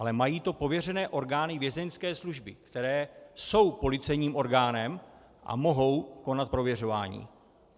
Ale mají to pověřené orgány Vězeňské služby, které jsou policejním orgánem a mohou konat prověřování.